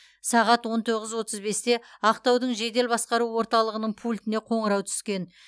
сағат он тоғыз отыз бесте ақтаудың жедел басқару орталығының пультіне қоңырау түскен